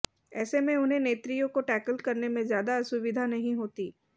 ऐसे में उन्हें नेत्रियों को टैकल करने में ज्यादा असुविधा नहीं होती